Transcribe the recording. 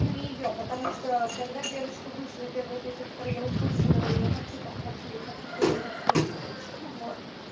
не её потому что когда девочка вышла и первая песня которую я услышала я хочу так хочу я хочу с тобой на всю ночь вот